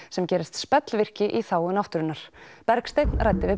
sem gerist spellvirki í þágu náttúrunnar Bergsteinn ræddi við